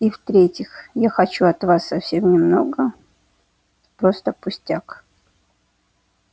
и в-третьих я хочу от вас совсем немного просто пустяк